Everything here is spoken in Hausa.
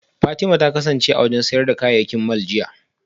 Fatima ta kasance a sayar da kayayyaki mall jiya